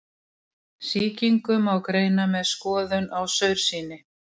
Sýkingu má greina með skoðun á saursýni.